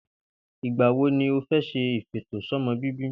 Ìgbà wo ni o fé̩ s̩e ìfètòsó̩mo̩bíbí